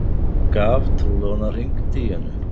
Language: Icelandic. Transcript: Gaf trúlofunarhring Díönu